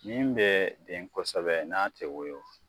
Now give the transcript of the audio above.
Min bɛɛ den kosɛbɛ n'a tɛ wɔyɔ